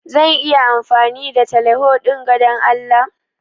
Zan iya amfani da teleho dinga Dan Allah?